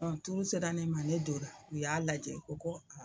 turu sera ne ma, ne donna u y'a lajɛ u ko